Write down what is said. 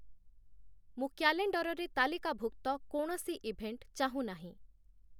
ମୁଁ କ୍ୟାଲେଣ୍ଡରରେ ତାଲିକାଭୁକ୍ତ କୌଣସି ଇଭେଣ୍ଟ ଚାହୁଁ ନାହିଁ